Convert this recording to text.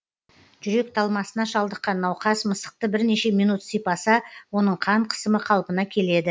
жүрек талмасына шалдыққан науқас мысықты бірнеше минут сипаса оның қан қысымы қалпына келеді